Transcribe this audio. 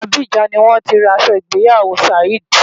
Abidjan ni wọ́n ti ra aṣọ ìgbéyàwó Saheed.